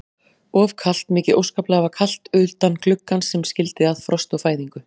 Og kalt, mikið óskaplega var kalt utan gluggans sem skildi að frost og fæðingu.